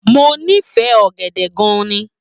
Mo nifẹ ọ̀gẹ̀dẹẹ̀ gan ni.